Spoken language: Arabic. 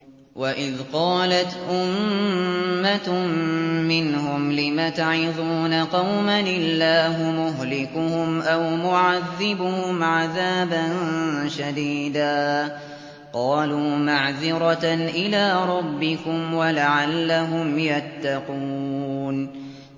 وَإِذْ قَالَتْ أُمَّةٌ مِّنْهُمْ لِمَ تَعِظُونَ قَوْمًا ۙ اللَّهُ مُهْلِكُهُمْ أَوْ مُعَذِّبُهُمْ عَذَابًا شَدِيدًا ۖ قَالُوا مَعْذِرَةً إِلَىٰ رَبِّكُمْ وَلَعَلَّهُمْ يَتَّقُونَ